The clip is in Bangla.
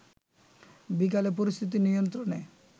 বিকালে পরিস্থিতি নিয়ন্ত্রণে